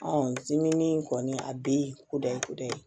diminen kɔni a bi ko da ye ko da ye